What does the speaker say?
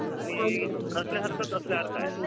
आणि नसल्यासारखंच असल्यासारखं आहे.